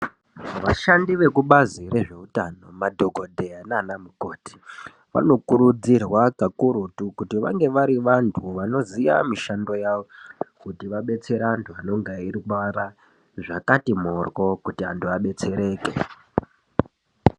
Vashandi vekubazi rezvewutano, madhokodheya nanamukoti, vanokurudzirwa kakurutu, kuti vange varivantu vanoziya mishando yavo, kuti vabetsere antu vanonge vayirwara zvakati moro kuti antu vadetsereke.